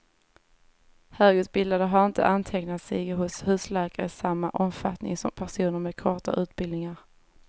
Högutbildade har inte antecknat sig hos husläkare i samma omfattning som personer med kortare utbildningar.